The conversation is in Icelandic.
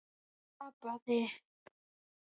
Ég tapaði.